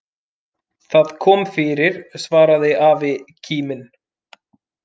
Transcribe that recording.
Það kom fyrir svaraði afi kíminn.